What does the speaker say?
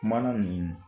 Mana ninnu